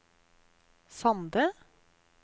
Sande